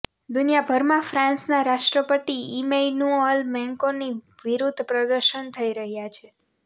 દુનિયાભરમાં ફ્રાન્સના રાષ્ટ્રપતિ ઈમૈનુઅલ મેક્રોંની વિરુદ્ધ પ્રદર્શન થઈ રહ્યા છે